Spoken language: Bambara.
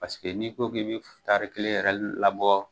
Paseke n'i ko k'e bɛ tari kelen yɛrɛ labɔ,